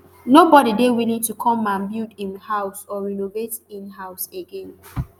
nobody dey willing to come and build im house or renovate in house again